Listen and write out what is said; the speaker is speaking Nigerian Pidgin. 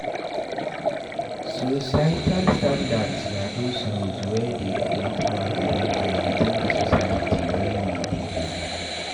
Societal standards na those rules wey dey guide our behaviour within di society wey we dey live